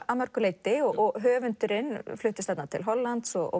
að mörgu leyti og höfundurinn fluttist til Hollands og